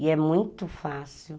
E é muito fácil.